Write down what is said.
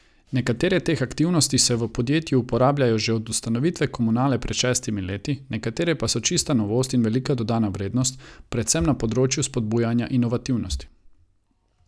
Nekatere teh aktivnosti se v podjetju uporabljajo že od ustanovitve komunale pred šestimi leti, nekatere pa so čista novost in velika dodana vrednost, predvsem na področju spodbujanja inovativnosti.